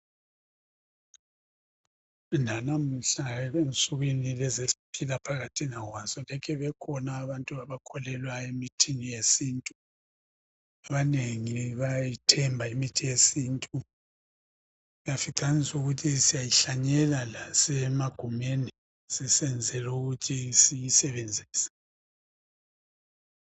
nanamuhla unsukwini lezi esiphila phakathina kwazo lokhe bekhona abantu abakholelwa emithi yesintu abanengi bayayithemba imithi yesintu uyafca ukuthi siyayihlanyela lasemagumeni sisenzela ukuthi siyisebenzise